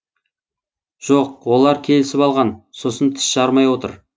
жоқ олар келісіп алған сосын тіс жармай отыр